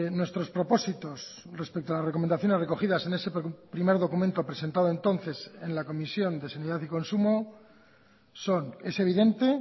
nuestros propósitos respecto a las recomendaciones recogidas en ese primer documento presentado entonces en la comisión de sanidad y consumo son es evidente